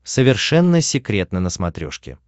совершенно секретно на смотрешке